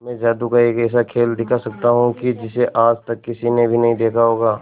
मैं जादू का एक ऐसा खेल दिखा सकता हूं कि जिसे आज तक किसी ने भी नहीं देखा होगा